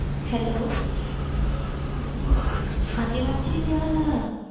Hello ਹਾਂਜੀ ਮਾਨਸੀ ਕੀ ਹਾਲ ਆ,